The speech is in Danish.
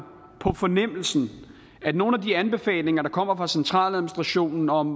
på fornemmelsen at nogle af de anbefalinger der kommer fra centraladministrationen om